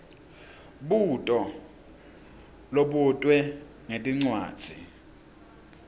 mbuto lobutwe ngetincwadzi